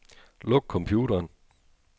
Luk computeren.